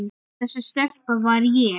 Þessi stelpa var ég.